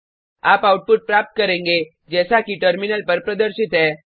आप आउटपुट प्राप्त करेंगे जैसा कि टर्मिनल पर प्रदर्शित है